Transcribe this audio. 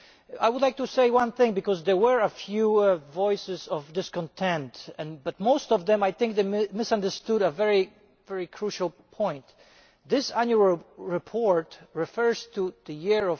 I would like to say one thing, because there were a few voices of discontent, but most of them, I think, misunderstood a very crucial point. This annual report refers to the year